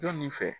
Jɔn nin fɛ